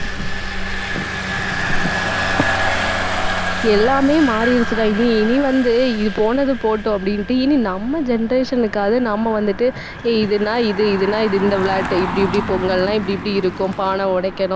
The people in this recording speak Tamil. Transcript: எல்லாமே மாறிடுச்சுடா. இனி, இனி வந்து இது போனது போகட்டும் அப்படின்ட்டு இனி நம்ம generation க்காவது நம்ம வந்துட்டு ஏய் இது நான் இது, இதுன்னா இது இந்த விளையாட்டை இப்படி இப்படி பொங்கல்ன்னா இப்படி இப்படி இருக்கும் பானை உடைக்கணும்.